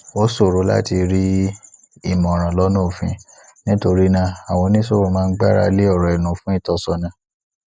ó ṣòro láti rí ìmòràn lona òfin nítorí náà àwọn oníṣòwò máa ń gbáralé òrò ẹnu fun ìtósónà